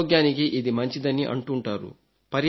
మా ఆరోగ్యానికి ఇది మంచిదని అంటుంటారు